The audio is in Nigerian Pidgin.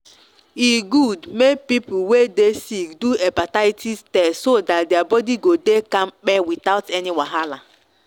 e good make people wey dey sick do hepatitis test so that their body go dey kampe without any wahala.